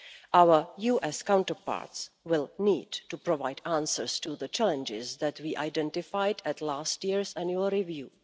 Our US counterparts will need to provide answers to the challenges that we identified at last year's annual review.